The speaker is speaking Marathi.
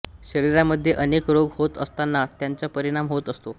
शरीरामधे अनेक रोग होत असताना त्यांचा परिणाम होत असतो